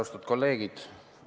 Austatud kolleegid!